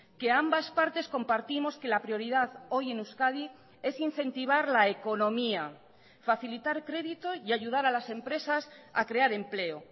que ambas partes compartimos que la prioridad hoy en euskadi es incentivar la economía facilitar crédito y ayudar a las empresas a crear empleo